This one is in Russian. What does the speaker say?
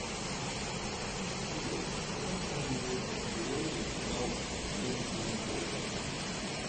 салют в каком самом известном сериале играл йен сомерхолдер